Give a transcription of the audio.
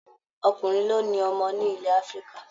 Ọkùnrin ló ni ọmọ ní ilẹ̀ Afrika